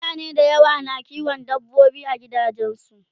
mutane da yawa na kiwon dabbobi a gidajensu